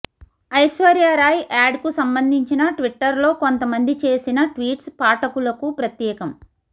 ఐశ్వర్యరాయ్ యాడ్కు సంబంధించిన ట్విట్టర్లో కొంత మంది చేసిన ట్వీట్స్ పాఠకులకు ప్రత్యేకం